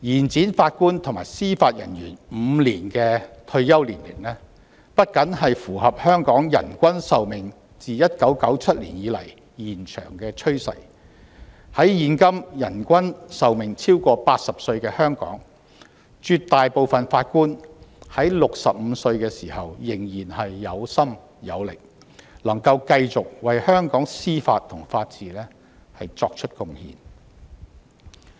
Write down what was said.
將法官及司法人員的退休年齡延展5年不僅符合香港人均壽命自1997年以來延長的趨勢，在現今人均壽命超過80歲的香港，絕大部分法官在65歲時仍然有心有力，能夠繼續為香港司法和法治作出貢獻。